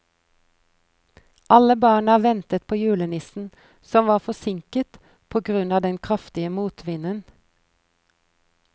Alle barna ventet på julenissen, som var forsinket på grunn av den kraftige motvinden.